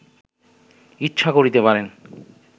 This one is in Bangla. ইচ্ছা করিতে পারেন